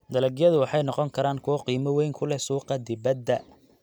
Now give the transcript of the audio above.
Dalagyadu waxay noqon karaan kuwo qiimo weyn ku leh suuqa dibadda.